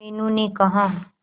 मीनू ने कहा